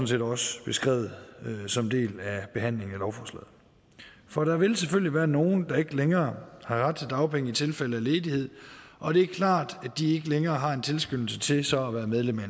set også beskrevet som en del af behandlingen af lovforslaget for der vil selvfølgelig være nogle der ikke længere har ret til dagpenge i tilfælde af ledighed og det er klart at de ikke længere har en tilskyndelse til så at være medlem af